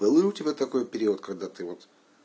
был ли у тебя такой период когда ты вот